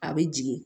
A bɛ jigin